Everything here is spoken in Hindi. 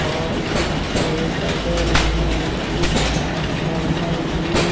और उसके बगल में एक ट्रांसफॉर्मल भी--